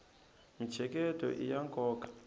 mintsheketo iya nkoka